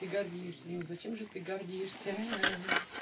гордишься ну зачем же ты гордишься